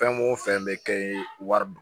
Fɛn mun fɛn bɛ kɛ ye wari don